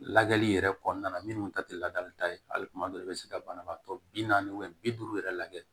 Lagɛli yɛrɛ kɔnɔna na minnu ta te ladalita ye hali kuma dɔw i bɛ se ka banabaatɔ bi naani bi duuru yɛrɛ lajɛ